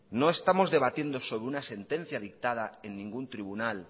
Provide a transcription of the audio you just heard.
no estamos debatiendo sobre una sentencia dictada en ningún tribunal